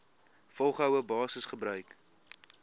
volgehoue basis gebruik